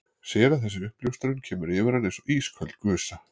Sér að þessi uppljóstrun kemur yfir hann eins og ísköld gusa.